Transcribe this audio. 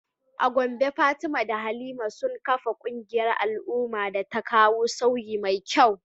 A Gombe Fatima da Halima sun kafa kungiyar al’umma da ta kawo sauyi mai kyau.